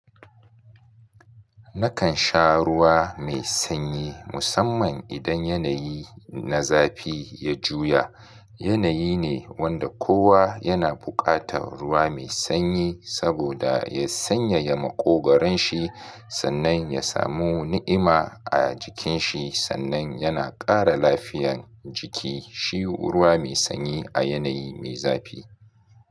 Nakan sha ruwa mai sanyi musamman idan yanayi na zafi ya juya. Yanayi ne wanda kowa yana buƙatar ruwa mai sanyi saboda ya sanyaya maƙogaron shi sannan ya samu ni'ima a jikin shi sannan yana ƙara lafiyan jiki. Shi ruwa mai sanyi a yanayi mai zafi.